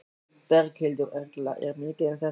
Berghildur Erla: Er mikið um þetta?